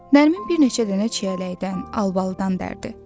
Nərmin bir neçə dənə çiyələkdən, albalıdan dərdi.